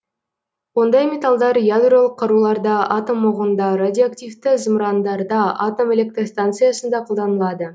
ондай металдар ядролық қаруларда атом оғында радиоактивті зымырандарда атом электр станциясында қолданылады